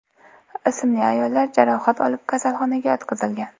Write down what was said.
ismli ayollar jarohat olib kasalxonaga yotqizilgan.